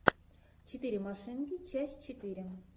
четыре машинки часть четыре